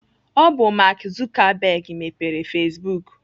Ọ bụ Mark Zuckerberg mepere Facebook.